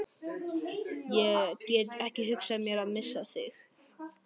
Ég get ekki hugsað mér að missa þig.